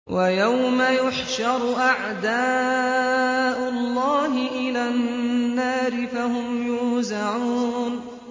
وَيَوْمَ يُحْشَرُ أَعْدَاءُ اللَّهِ إِلَى النَّارِ فَهُمْ يُوزَعُونَ